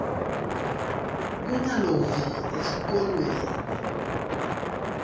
kungalovi esikolweni